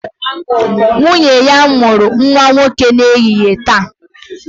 Nwunye ya mụrụ nwa nwoke n'ehihie taa